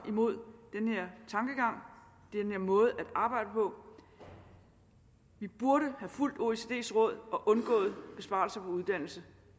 imod den her måde at arbejde på vi burde have fulgt oecds råd og undgået besparelser på uddannelse